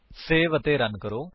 save ਅਤੇ run ਕਰੋ